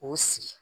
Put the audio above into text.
K'o sigi